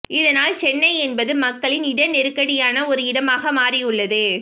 இதனால் சென்னை என்பது மக்களின் இட நெருக்கடியான ஒரு இடமாக மாறியுள்ளது